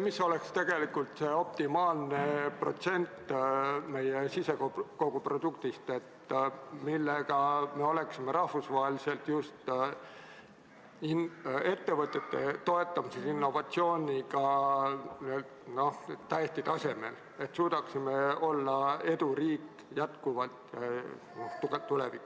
mis oleks tegelikult see optimaalne protsent meie sisemajanduse kogutoodangust, millega me oleksime rahvusvaheliselt just ettevõtete toetamises innovatsiooniga täiesti tasemel, et suudaksime olla tulevikus jätkuvalt tugev eduriik.